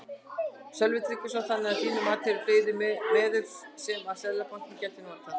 Sölvi Tryggvason: Þannig að þín mati eru fleiri meðöl sem að Seðlabankinn gæti notað?